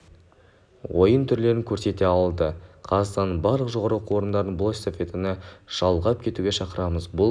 ойын түрлерін көрсете алады қазақстанның барлық жоғарғы оқу орындарын бұл эстафетаны жалғап кетуге шақырамыз бұл